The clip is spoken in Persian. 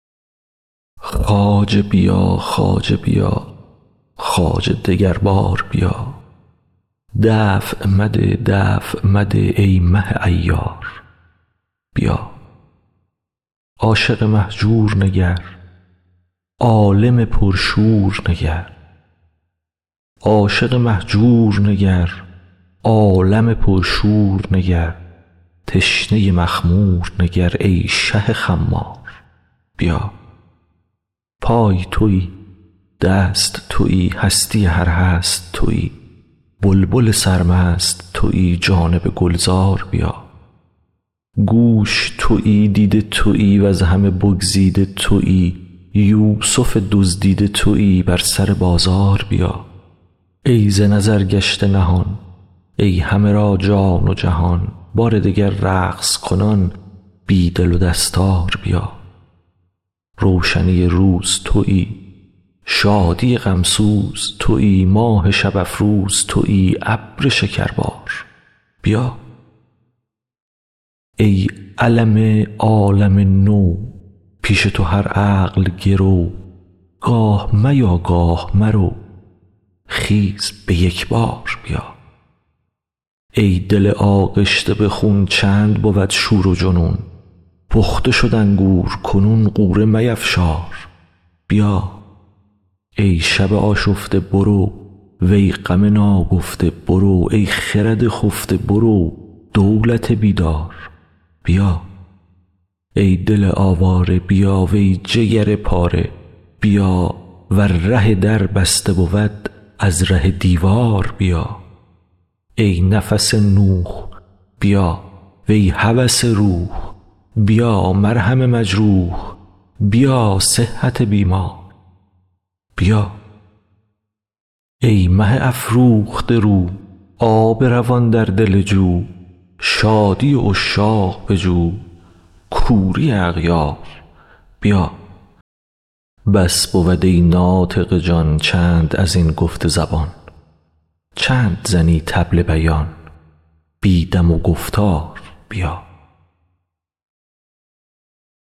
خواجه بیا خواجه بیا خواجه دگر بار بیا دفع مده دفع مده ای مه عیار بیا عاشق مهجور نگر عالم پرشور نگر تشنه مخمور نگر ای شه خمار بیا پای توی دست توی هستی هر هست توی بلبل سرمست توی جانب گلزار بیا گوش توی دیده توی وز همه بگزیده توی یوسف دزدیده توی بر سر بازار بیا ای ز نظر گشته نهان ای همه را جان و جهان بار دگر رقص کنان بی دل و دستار بیا روشنی روز توی شادی غم سوز توی ماه شب افروز توی ابر شکربار بیا ای علم عالم نو پیش تو هر عقل گرو گاه میا گاه مرو خیز به یک بار بیا ای دل آغشته به خون چند بود شور و جنون پخته شد انگور کنون غوره میفشار بیا ای شب آشفته برو وی غم ناگفته برو ای خرد خفته برو دولت بیدار بیا ای دل آواره بیا وی جگر پاره بیا ور ره در بسته بود از ره دیوار بیا ای نفس نوح بیا وی هوس روح بیا مرهم مجروح بیا صحت بیمار بیا ای مه افروخته رو آب روان در دل جو شادی عشاق بجو کوری اغیار بیا بس بود ای ناطق جان چند از این گفت زبان چند زنی طبل بیان بی دم و گفتار بیا